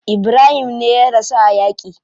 Ibrahim me ya rasu a yaki.